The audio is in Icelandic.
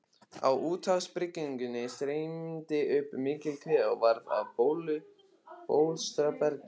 Á úthafshryggjunum streymdi upp mikil kvika og varð að bólstrabergi.